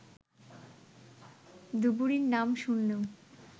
ধুবড়ী-র নাম শুনলেই